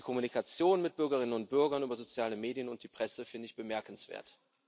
Die Kommunikation mit Bürgerinnen und Bürgern über soziale Medien und die Presse finde ich bemerkenswert.